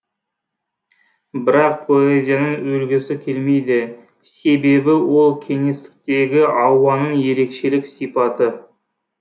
бірақ поэзияның өлгісі келмейді себебі ол кеңістіктегі ауаның ерекшелік сипаты